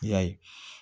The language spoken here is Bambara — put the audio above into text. I y'a ye